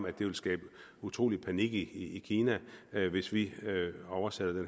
at det vil skabe utrolig panik i kina hvis vi oversætter den